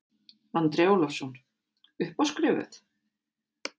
Andri Ólafsson: Upp á skrifuð?